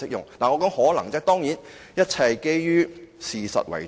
我說的是"可能"，當然一切是基於事實為準。